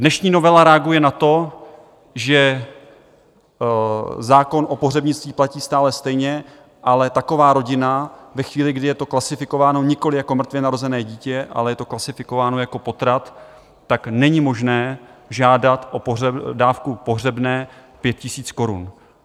Dnešní novela reaguje na to, že zákon o pohřebnictví platí stále stejně, ale taková rodina ve chvíli, kdy je to klasifikováno nikoliv jako mrtvě narozené dítě, ale je to klasifikováno jako potrat, tak není možné žádat o dávku pohřebného 5 000 korun.